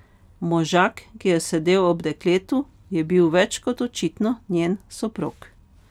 Možak, ki je sedel ob dekletu, je bil več kot očitno njen soprog.